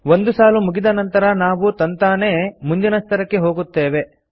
ಒಂದು ಸಾಲು ಮುಗಿದ ನಂತರ ನಾವು ತಂತಾನೇ ಮುಂದಿನ ಸ್ತರಕ್ಕೆ ಹೋಗುತ್ತೇವೆ